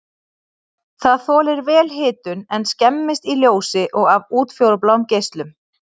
Það þolir vel hitun en skemmist í ljósi og af útfjólubláum geislum.